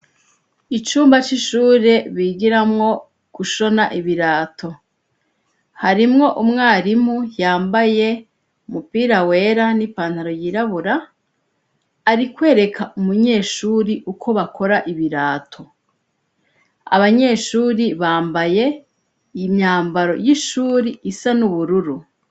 Icumba c'ishure bigiramwo gushona ibirato harimwo umwarimu yambaye umupira wera n'ipantaro yirabura ari kwereka umunyeshuri uko bakora ibirato abanyeshuri bambaye imyamba ro y'ishuri isa n'ubururu.